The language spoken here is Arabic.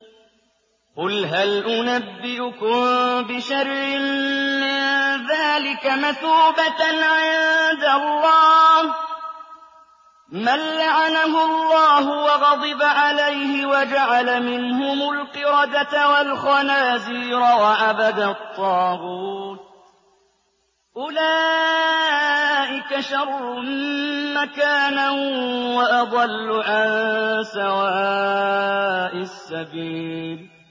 قُلْ هَلْ أُنَبِّئُكُم بِشَرٍّ مِّن ذَٰلِكَ مَثُوبَةً عِندَ اللَّهِ ۚ مَن لَّعَنَهُ اللَّهُ وَغَضِبَ عَلَيْهِ وَجَعَلَ مِنْهُمُ الْقِرَدَةَ وَالْخَنَازِيرَ وَعَبَدَ الطَّاغُوتَ ۚ أُولَٰئِكَ شَرٌّ مَّكَانًا وَأَضَلُّ عَن سَوَاءِ السَّبِيلِ